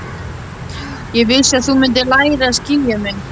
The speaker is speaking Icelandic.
Ég vissi að þú mundir læra að skilja mig.